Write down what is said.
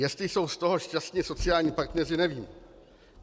Jestli jsou z toho šťastni sociální partneři, nevím.